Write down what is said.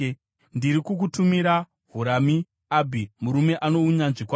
“Ndiri kukutumira Hurami-Abhi murume ano unyanzvi kwazvo.